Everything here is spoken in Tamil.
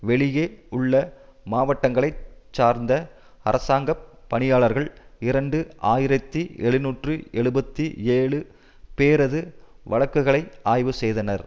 வெளியே உள்ள மாவட்டங்களை சார்ந்த அரசாங்க பணியாளர்கள் இரண்டு ஆயிரத்தி எழுநூற்று எழுபத்து ஏழு பேரது வழக்குகளை ஆய்வு செய்தனர்